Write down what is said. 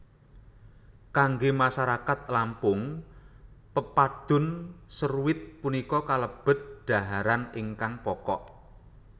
Kanggé masarakat Lampung Pepadun seruit punika kalebet dhaharan ingkang pokok